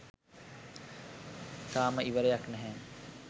තාම ඉවරයක් නැහැ